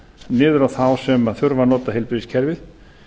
niður á þá sem þurfa að nota heilbrigðiskerfið